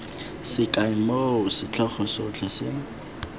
sekai moo setlhogo sotlhe se